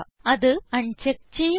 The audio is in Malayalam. അത് അൺചെക്ക് ചെയ്യുക